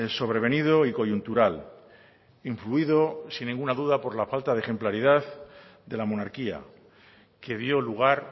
sobrevenido y coyuntural influido sin ninguna duda por la falta de ejemplaridad de la monarquía que dio lugar